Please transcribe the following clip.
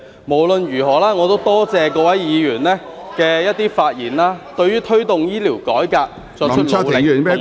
無論如何，我也多謝各位議員發言，對於推動醫療改革，作出努力，以及......